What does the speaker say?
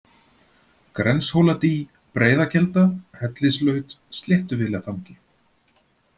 Grenshóladý, Breiðakelda, Hellislaut, Sléttuvélatangi